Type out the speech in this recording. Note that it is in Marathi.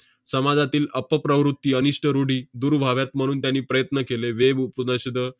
समाजातील अपप्रवृत्ती, अनिष्ठ रुढी दूर व्हाव्यात, म्हणून त्यांनी प्रयत्न केले. वेव उपदर्शनं,